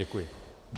Děkuji.